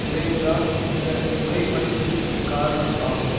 விளைவுதான் இந்த குறைமதிப்பிற்குக் காரணம் ஆகும்